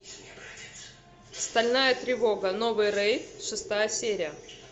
стальная тревога новый рейд шестая серия